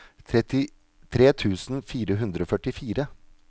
trettitre tusen fire hundre og førtifire